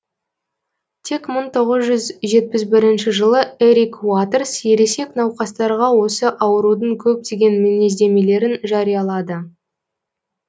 тек мың тоғыз жүз жетпіс бірінші жылы эрик уатерс ересек науқастарға осы аурудың көптеген мінездемелерін жариялады